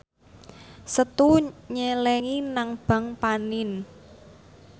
Setu nyelengi nang bank panin